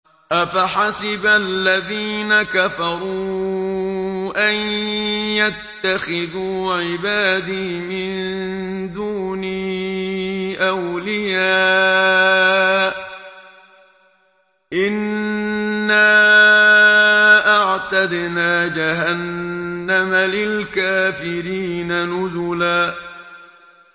أَفَحَسِبَ الَّذِينَ كَفَرُوا أَن يَتَّخِذُوا عِبَادِي مِن دُونِي أَوْلِيَاءَ ۚ إِنَّا أَعْتَدْنَا جَهَنَّمَ لِلْكَافِرِينَ نُزُلًا